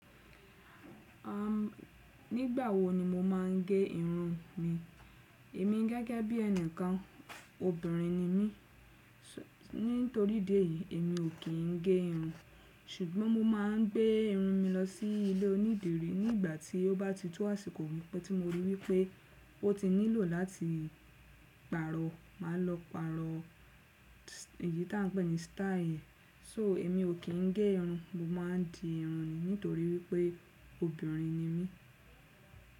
Nígbà wo ni mo máa ń gé irun mi, èmi gẹ́gẹ́ bí ẹnìkan obìnrin ni mí. Nítorí idi eyii, èmi ò kí ń gé irun, ṣùgbọ́n mo máa ń gbé irun mi lọsí ilé onídìrí nígbà tí ó bá ti tó àsìkò wípé tí mo rí wípé ó ti nílò láti pàrọ̀, màá lọ pàrọ̀ èyí tí à ń pè ní "style". "So" èmi ò kí ń gé irun, mo máa ń di irun ni nítorí wípé obìnrin ni mí.